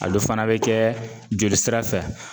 A do fana be kɛ joli sira fɛ